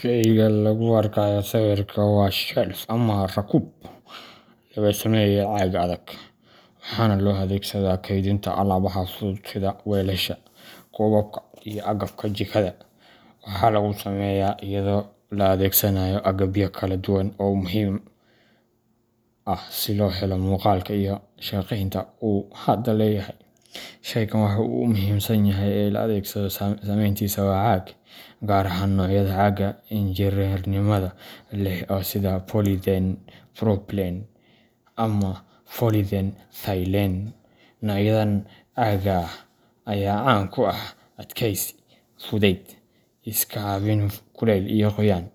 Shayga lagu arkayo sawirka waa shelfka ama rakuub laga sameeyay caag adag, waxaana loo adeegsadaa kaydinta alaabaha fudud sida weelasha, koobabka, iyo agabka jikada. Waxaa lagu sameeyaa iyadoo la adeegsanayo agabyo kala duwan oo muhiim ah si loo helo muuqaalka iyo shaqeynta uu hadda leeyahay. Shaygan waxa ugu muhiimsan ee loo adeegsado samayntiisa waa caag, gaar ahaan noocyada caaga injineernimada leh ee sida Polypropylene ama Polyethylene. Noocyadan caagga ah ayaa caan ku ah adkeysi, fudayd, iska caabin kulayl iyo qoyaan,